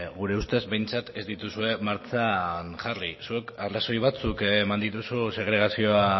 gure ustez behintzat ez dituzue martxan jarri zuk arrazoi batzuk eman dituzu segregazioa